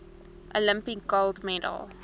olympic gold medal